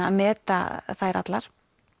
að meta þær allar